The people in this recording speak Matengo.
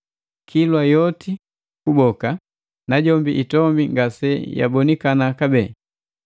Kilwa yoti kuboka, najombi itombi ngase yabonikana kabee.